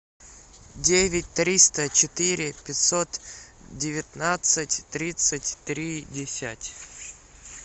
девять триста четыре пятьсот девятнадцать тридцать три десять